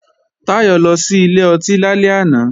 Táyọ̀ lọ sí ilé ọtí lálẹ́ àná